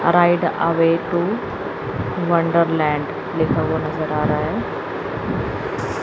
Right away to wonderland लिखा हुआ नजर आ रहा है।